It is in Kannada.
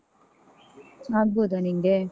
ಆಗ್ಬೋದ ನಿಂಗೆ?